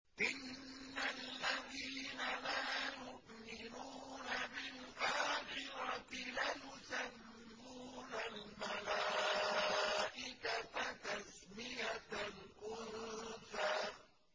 إِنَّ الَّذِينَ لَا يُؤْمِنُونَ بِالْآخِرَةِ لَيُسَمُّونَ الْمَلَائِكَةَ تَسْمِيَةَ الْأُنثَىٰ